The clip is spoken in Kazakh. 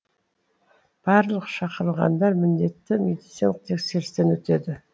барлық шақырылғандар міндетті медициналық тексерістен өтеді